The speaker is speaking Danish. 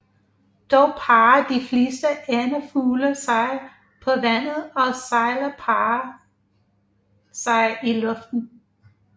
Dog parrer de fleste andefugle sig på vandet og sejlere parrer sig i luften